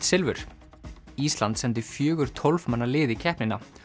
silfur ísland sendi fjögur tólf manna lið í keppnina